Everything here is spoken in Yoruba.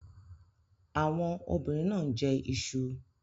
Àwọn obìnrin náà ń jẹ iṣu.